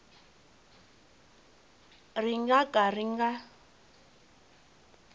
ri nga ka ri nga